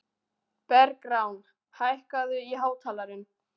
Bergrán, hækkaðu í hátalaranum.